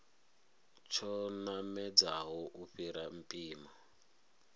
tsho namedzaho u fhira mpimo